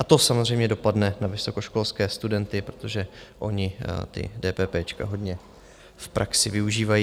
A to samozřejmě dopadne na vysokoškolské studenty, protože oni ta dépépéčka hodně v praxi využívají.